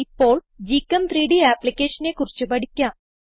ഇപ്പോൾ gchem3ഡ് ആപ്പ്ളിക്കേഷനെ കുറിച്ച് പഠിക്കാം